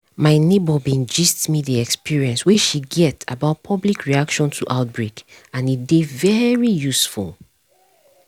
my neighbor bin gist me the experience wey she get about public reaction to outbreak and e dey very useful